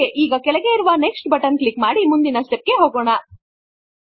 okay ಈಗ ಕೆಳಗೆ ಇರುವ ನೆಕ್ಸ್ಟ್ ಬಟನ್ ಕ್ಲಿಕ್ ಮಾಡಿ ಮುಂದಿನ ಸ್ಟೆಪ್ ಗೆ ಹೋಗೋಣ